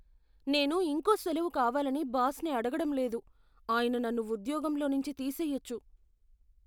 నేను ఇంకో సెలవు కావాలని బాస్ని అడగడం లేదు. ఆయన నన్ను ఉద్యోగంలో నుంచి తీసేయొచ్చు.